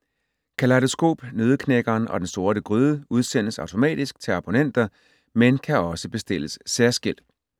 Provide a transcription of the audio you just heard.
Kalejdoskop, Nøddeknækkeren og Den Sorte Gryde udsendes automatisk til abonnenter, men kan også bestilles særskilt.